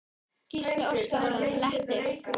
Gísli Óskarsson: Léttir?